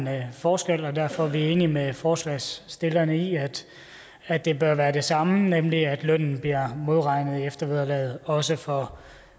er en forskel derfor er vi enige med forslagsstillerne i at det bør være det samme nemlig at lønnen bliver modregnet i eftervederlaget også for